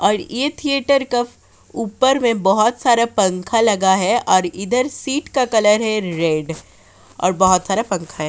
और ये थिएटर क ऊपर में बहोत सारा पंखा लगा है और इधर सीट का कलर है रेड और बहोत सारा पंखा है।